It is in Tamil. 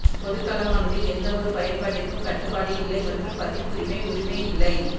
பொதுக் களமானது எந்தவொரு பயன்பாட்டிற்கும் கட்டுப்பாடு இல்லை மற்றும் பதிப்புரிமை உரிமை இல்லை